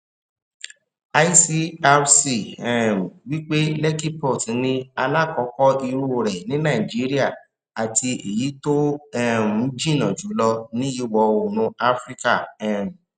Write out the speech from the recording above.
icrc um wípé lekki port ní alákọọkọ irú rẹ ní nàìjíríà àti ẹyí tó um jìn jùlọ ní ìwọ oòrùn afirikà um